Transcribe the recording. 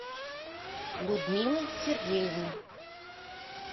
людмилы сергеевны